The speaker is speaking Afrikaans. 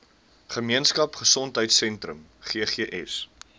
gemeenskap gesondheidsentrum ggs